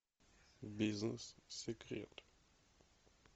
бизнес секрет